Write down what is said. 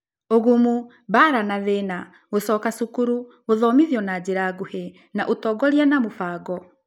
Ũgumu, mbaara na thĩna, gũcoka cukuru , gũthomithio na njĩra nguhĩ , na ũtongoria na mũbango